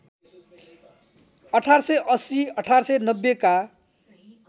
१८८० १८९० का